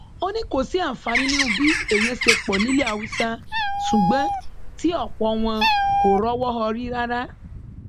ó ní kò sí àǹfààní nínú bí èèyàn ṣe pọ pọ nílẹ haúsá ṣùgbọn tí ọpọ wọn kò rọwọ họrí rárá